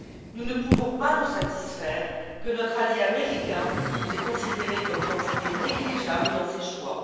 Nous ne pouvons pas nous satisfaire que notre allié américain nous ait considérés comme quantité négligeable dans ses choix.